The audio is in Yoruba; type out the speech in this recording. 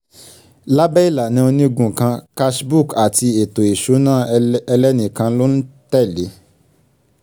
lábẹ́ ìlànà onígun kan cash book àti ètò ìṣúná ẹlẹ́nìkan ló ń tẹ̀lé